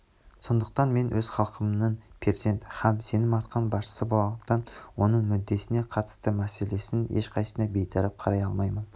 сондықтан мен өз халқымның перзент һәм сенім артқан басшысы болғандықтан оның мүддесіне қатысты мәселенің ешқайсына бейтарап қарай алмаймын